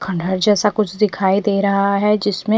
खण्डहर जेसा कुछ दिखाई दे रहा है जिसमे--